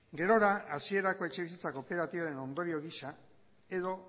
gerora hasierako etxebizitza kooperatiben ondorio gisa edo